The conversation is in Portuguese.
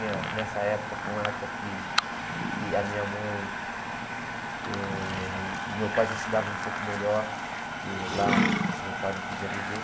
Minha nessa época, foi uma época que que a minha mãe eh e meu pai já se davam um pouco melhor, porque lá o meu pai não podia beber.